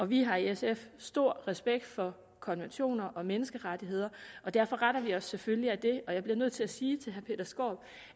vi har i sf stor respekt for konventioner og menneskerettigheder derfor retter vi os selvfølgelig efter det og jeg bliver nødt til at sige til herre peter skaarup